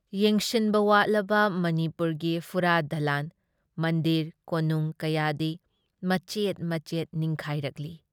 ꯌꯦꯡꯁꯤꯟꯕ ꯋꯥꯠꯂꯕ ꯃꯅꯤꯄꯨꯔꯒꯤ ꯐꯨꯔꯥ-ꯗꯂꯥꯜ ꯃꯟꯗꯤꯔ ꯀꯣꯅꯨꯡ ꯀꯌꯥꯗꯤ ꯃꯆꯦꯠ ꯃꯆꯦꯠ ꯅꯤꯡꯈꯥꯏꯔꯛꯂꯤ ꯫